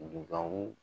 Dugawu